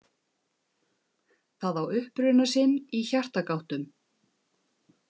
Það á uppruna sinn í hjartagáttum.